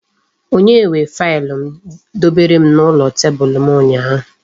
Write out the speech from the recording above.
Onye were faịlụ m dobere n'elu tebulu m ụnyaahụ?